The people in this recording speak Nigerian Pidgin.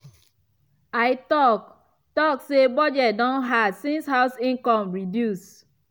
i talk talk say budget don hard since house income reduce.